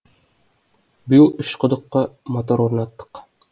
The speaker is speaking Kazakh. биыл үш құдыққа мотор орнаттық